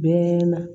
Bɛɛ na